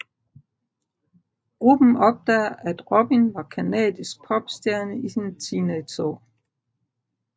Gruppen opdager at Robin var canadisk popstjerne i sine teenageår